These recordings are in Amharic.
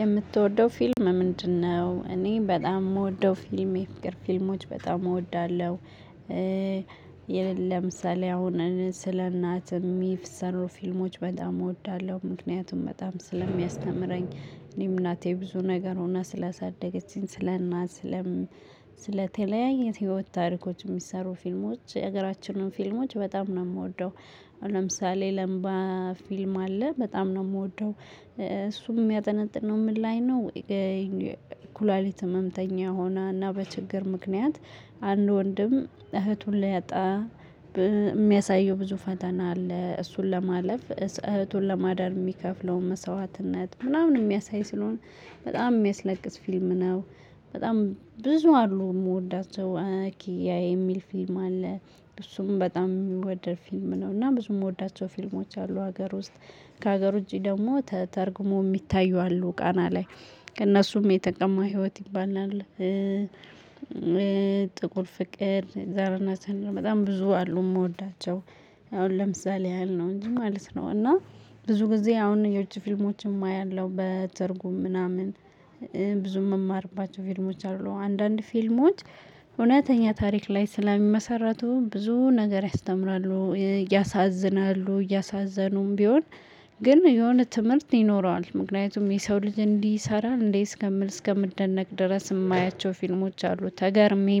የምትወደው ፊልም ምንድነው? እኔ በጣም የምወደው ፊልም የፍቅር ፊልሞች በጣም እወዳለሁ። ይህም ለምሳሌ አሁን ስለ እናት የሚሰሩ ፊልሞች በጣም እወዳለሁ ምክንያቱም በጣም ስለሚያስተምረኝ እኔም እናቴ ብዙ ነገር ሁና ስላሳደገችኝ ስለእናቴም ለተለያየ ህይወት ታሪኮች የሚሰሩ ፊልሞች የሀገራችንን ፊልሞች በጣም ነው የምወደው። ለምሳሌ ላምባ ፊልም አለ በጣም ነው የምወደው። እሱም የሚያጠነጥነው ነው ምን ላይ ነው? ኩላሊት ህመምተኛ ሆና እና በችግር ምክንያት። አንድ ወንድም እህቱን ሊያጣ የሚያሳየው ብዙ ፈተና አለ እሱን ለማለፍ እህቱን ለማዳን የሚከፍለው መስዋዕትነት ምናምን የሚያሳይ ስለሆነ በጣም የሚያስለቅስ ፊልም ነው። በጣም ብዙ አሉ የምወዳቸው። የኤሚል ፊልም አለ። እሱም በጣም የሚወደድ ፊልም ነው እና ብዙ የምወዳቸው ፊልሞች አሉ ሀገር ውስጥ። ከሀገሩ ዉጭ ደግሞ ተተርጉሞ የሚታዩ አሉ ቃና ላይ ከእነሱም የተጠማ ህይወት ይባላል። ጥቁር ፍቅር ዛራና ቻንድራ በጣም ብዙ አሉ የምወዳቸው። አሁን ለምሳሌ ያህል ነው እንጂ ማለት ነው እና ብዙ ጊዜ አሁን የውጭ ፊልሞችም ያለው በትርጉም ምናምን። ብዙም የምማርባቸው ፊልሞች አሉ አንዳንድ ፊልሞች። እውነተኛ ታሪክ ላይ ስለሚመሰረቱ ብዙ ነገር ያስተምራሉ ያሳዝናሉ እያሳዘኑም ቢሆን። ግን የሆነ ትምህርት ይኖረዋል ምክንያቱም የሰው ልጅ እንደህ ይሰራል እንዴ እስከምል እስከመምደነቅ ድረስ የማያቸው ፊልሞች አሉ ተገርሜ የማያቸው ፊልሞች አሉ። እሱም በጣም የሚወድር ፊልም ነው። እና ብዙ የምወዳቸው ፊልሞች አሉ ሀገር ውስጥ ከሀገሩ እንጂ ደግሞ ተተርጉሞ የሚታዩ። አሉ ቃና ላይ ከእነሱም የተጠማ ህይወት ይባላል። ጥቁር ፍቅር ዛሬና ቻናል በጣም ብዙ አሉ የምወዳቸው አሁን ለምሳሌ ያህል ነው እንጂ ማለት ነው እና ብዙ ጊዜ አሁን የውጭ ፊልሞችም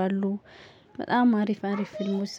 ያለው በትርጉም ምናምን